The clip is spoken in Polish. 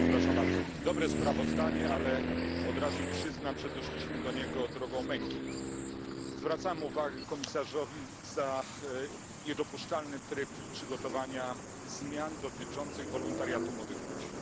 Panie Przewodniczący! Dobre sprawozdanie, ale od razu przyznam, że doszliśmy do niego drogą męki. Zwracam uwagę komisarzowi za niedopuszczalny tryb przygotowania zmian dotyczących wolontariatu młodych ludzi.